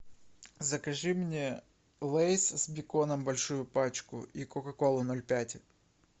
закажи мне лейс с беконом большую пачку и кока колу ноль пять